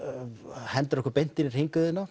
hendir okkur beint inn í